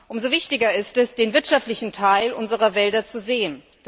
Umso wichtiger ist es, den wirtschaftlichen Teil unserer Wälder zu sehen.